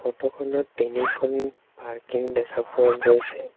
Photo খনত তিনিখন parking দেখা পোৱা গৈছে।